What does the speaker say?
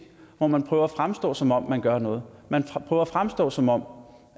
hvor man prøver at fremstå som om man gør noget man prøver at fremstå som om